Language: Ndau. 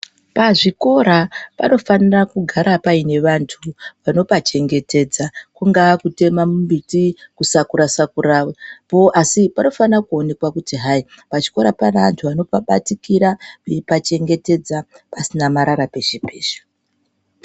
Pazvikora panofanira kugara paine vantu vanopa chengetedza. Kungaa kutema mumbiti, kusakura sakurapo asi panofana kuonekwa kuti hai pachikora pane anhu ano pabatikira eipachengetedza pasina marara peshe peshe.